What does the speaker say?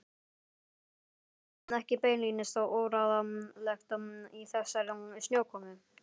Var það ekki beinlínis óráðlegt í þessari snjókomu?